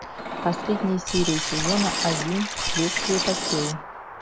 последняя серия сезона один следствие по телу